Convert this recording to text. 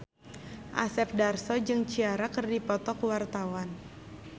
Asep Darso jeung Ciara keur dipoto ku wartawan